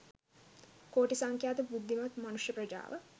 කෝටි සංඛ්‍යාත බුද්ධිමත් මනුෂ්‍ය ප්‍රජාව